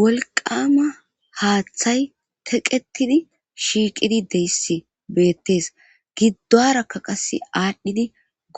wolqama haaththay teqetidi shiiqidi deyssi beettees giddorakka qas aadhdhidi